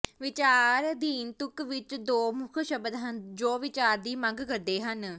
ਵਿਚਾਰਅਧੀਨ ਤੁਕ ਵਿਚ ਦੋ ਮੁਖ ਸ਼ਬਦ ਹਨ ਜੋ ਵੀਚਾਰ ਦੀ ਮੰਗ ਕਰਦੇ ਹਨ